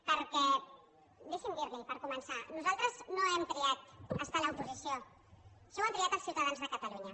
perquè deixi’m dir li ho per començar nosaltres no hem triat estar a l’oposició això ho han triat els ciutadans de catalunya